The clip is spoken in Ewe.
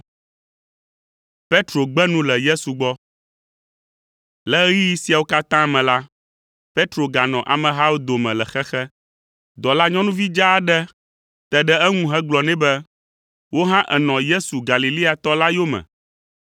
Le ɣeyiɣi siawo katã me la, Petro ganɔ amehawo dome le xexe. Dɔlanyɔnuvi dzaa aɖe te ɖe eŋu gblɔ nɛ be, “Wò hã ènɔ Yesu Galileatɔ la yome.”